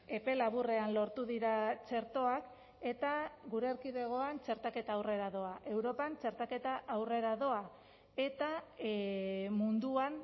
epe laburrean lortu dira txertoak eta gure erkidegoan txertaketa aurrera doa europan txertaketa aurrera doa eta munduan